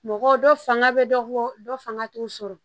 Mɔgɔ dɔ fanga bɛ dɔ bɔ dɔ fanga t'u sɔrɔ